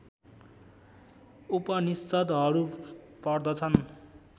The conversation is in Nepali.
उपनिषद्हरू पर्दछन्